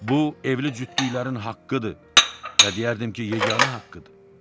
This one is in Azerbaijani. Bu evli cütlüklərin haqqıdır və deyərdim ki, yeganə haqqıdır.